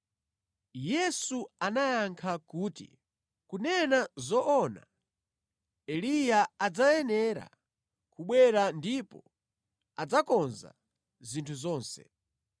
Yesu anayankha kuti, “Kunena zoona, Eliya adzayenera kubwera ndipo adzakonza zinthu zonse.